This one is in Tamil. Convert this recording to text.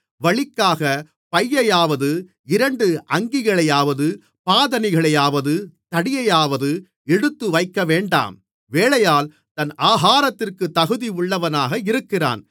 வழிக்காகப் பையையாவது இரண்டு அங்கிகளையாவது பாதணிகளையாவது தடியையாவது எடுத்துவைக்கவேண்டாம் வேலையாள் தன் ஆகாரத்திற்குத் தகுதியுள்ளவனாக இருக்கிறான்